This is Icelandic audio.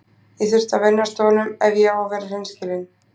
Ég þurfti að venjast honum ef ég á að vera hreinskilinn.